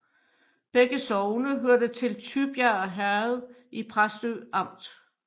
Begge sogne hørte til Tybjerg Herred i Præstø Amt